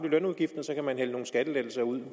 lønudgiften og så kan man hælde nogle skattelettelser ud